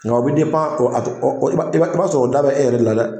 Nga o bɛ i b'a i b'a sɔrɔ o da bɛ e yɛrɛ de la dɛ.